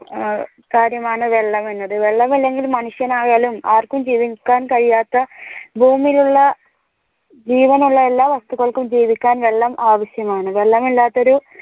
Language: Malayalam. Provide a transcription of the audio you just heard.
കാര്യമാണ് വെള്ളം എന്നത് വെള്ളം ഇല്ലെങ്കിൽ മനുഷ്യനായാലും ആർക്കും ജീവിക്കാൻ കഴിയാത്ത ഭൂമിയിലുള്ള ജീവനുള്ള എല്ലാ വസ്തുക്കൾക്കും ജീവിക്കാൻ വെള്ളം ആവിശ്യമാണ് വെള്ളം ഇല്ലാത്തോരു